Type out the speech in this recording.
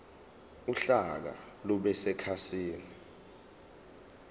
uhlaka lube sekhasini